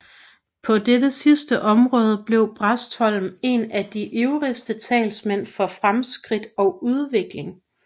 På dette sidste område blev Bastholm en af de ivrigste talsmænd for fremskridt og udvikling